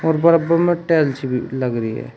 और बराबर में टाइल्स भी लगी है।